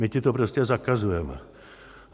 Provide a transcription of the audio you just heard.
My ti to prostě zakazujeme!